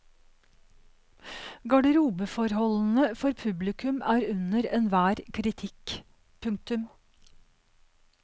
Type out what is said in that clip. Garderobeforholdene for publikum er under enhver kritikk. punktum